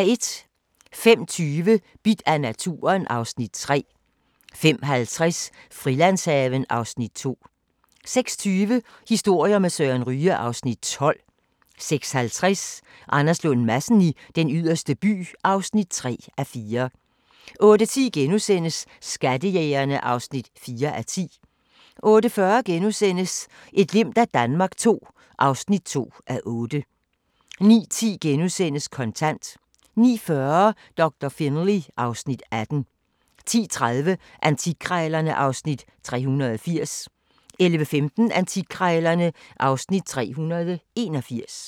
05:20: Bidt af naturen (Afs. 3) 05:50: Frilandshaven (Afs. 2) 06:20: Historier med Søren Ryge (Afs. 12) 06:50: Anders Lund Madsen i Den Yderste By (3:4) 08:10: Skattejægerne (4:10)* 08:40: Et glimt af Danmark II (2:8)* 09:10: Kontant * 09:40: Doktor Finlay (Afs. 18) 10:30: Antikkrejlerne (Afs. 380) 11:15: Antikkrejlerne (Afs. 381)